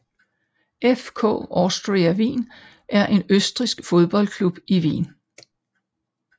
FK Austria Wien er en østrigsk fodboldklub i Wien